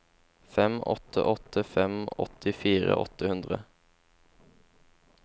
fem åtte åtte fem åttifire åtte hundre